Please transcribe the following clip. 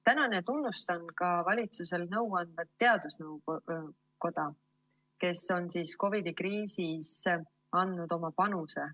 Tänan ja tunnustan ka valitsusele nõu andvat teadusnõukoda, kes on COVID‑i kriisis andnud oma panuse.